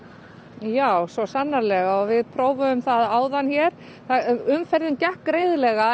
já svo sannrlega við prófuðum áðan umferðin gekk greiðlega en